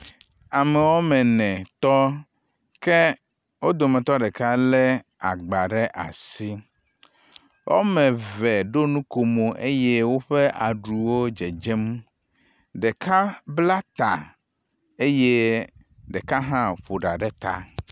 Ame woame ene tɔ ke wodometɔ ɖeka le agba ɖe asi, woameve ɖo nukomo eye woƒe aɖuwo dzedzem. Ɖeka bla ta eye ɖeka hã ƒo ɖa ɖe ta.